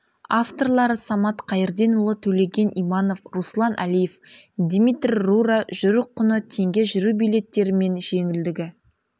авторлары самат қайырденұлы төлеген иманов руслан әлиев дмитрий рура жүру құны теңге жүру билеттері мен жеңілдігі